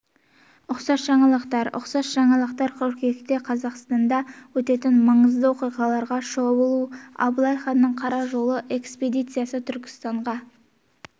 ұқсас жаңалықтар ұқсас жаңалықтар қыркүйекте қазақстанда өтетін маңызды оқиғаларға шолу абылай ханның қара жолы экспедициясы түркістанға